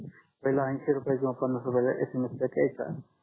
पहिल अंशी रुपये कीव पन्नास रुपयाचा SMS पॅक यायचा